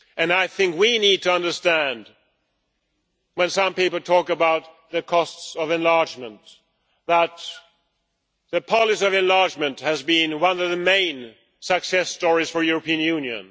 I think we need to understand that when some people talk about the costs of enlargement, the policy of enlargement has been one of the main success stories for the European Union.